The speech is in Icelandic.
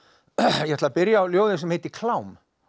ég ætla að byrja á ljóði sem heitir klám